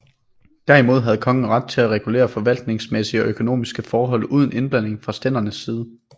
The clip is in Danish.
Derimod havde kongen ret til at regulere forvaltningsmæssige og økonomiske forhold uden indblanding fra stændernes side